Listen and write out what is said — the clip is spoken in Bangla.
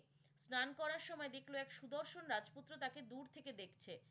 স্নান করার সময় দেখলো এক সুদর্শন রাজপুত্র তাকে দূর থেকে দেখছে।